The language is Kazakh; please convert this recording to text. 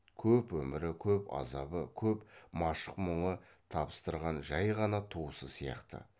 көп өмірі көп азабы көп машық мұңы табыстырған жай ғана туысы сияқты